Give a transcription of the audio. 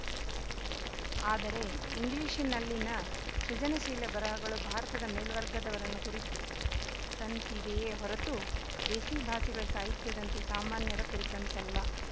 ಆದರೆ ಇಂಗ್ಲಿಶಿನಲ್ಲಿನ ಸೃಜನಶೀಲ ಬರಹಗಳು ಭಾರತದ ಮೇಲ್ವರ್ಗದವರನ್ನು ಕುರಿತಂತಿವೆಯೇ ಹೊರತು ದೇಸಿ ಭಾಷೆಗಳ ಸಾಹಿತ್ಯದಂತೆ ಸಾಮಾನ್ಯರ ಕುರಿತಂತಲ್ಲ